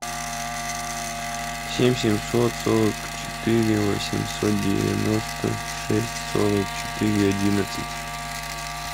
семь семьсот сорок четыре восемьсот девяносто шесть сорок четыре одиннадцать